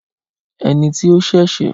Ẹni tí ó ṣẹ̀ṣẹ̀